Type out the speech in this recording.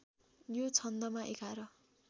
यो छन्दमा एघार